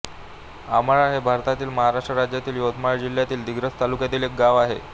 अमळा हे भारतातील महाराष्ट्र राज्यातील यवतमाळ जिल्ह्यातील दिग्रस तालुक्यातील एक गाव आहे